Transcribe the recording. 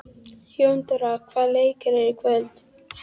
Jóndóra, hvaða leikir eru í kvöld?